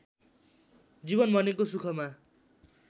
जीवन भनेको सुखमा